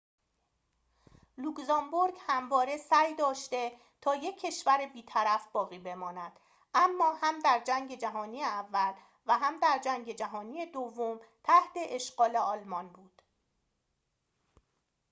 لوکزامبورگ همواره سعی داشته تا یک کشور بیطرف باقی بماند اما هم در جنگ جهانی اول و هم در جنگ جهانی دوم تحت اشغال آلمان بود